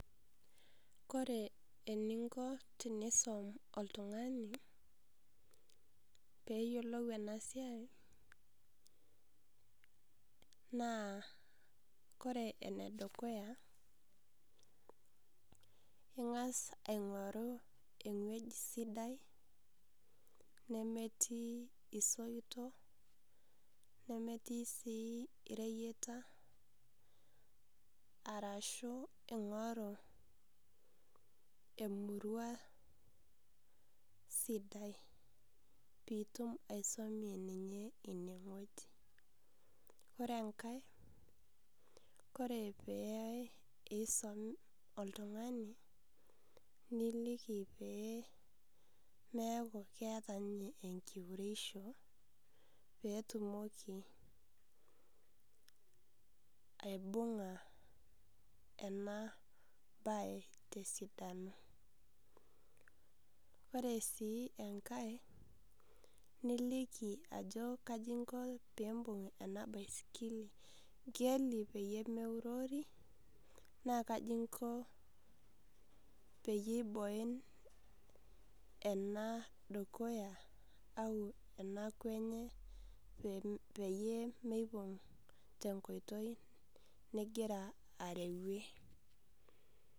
Ore eninko tenkisuma oltung'ani peyiolou ena siai naa ore enedukuya eng'as aing'oru ewueji sidai nemetii esoitok nemetii sii ereyiata arashu eng'oru temurua sidai pitum aisumie ene wueji ore enkae ore pesum oltung'ani nilikii pee meeku keeta ninye enkiuretisho petumoki aibung'a ena mbae tesidano ore sii enkae nilikii Ajo kaji enkop pimbug ena baisikili peyie meurori naa kaji enkop peyie eboin ena dukuya au ena kwee enye peyie mipug tenkoitoi nigira arewue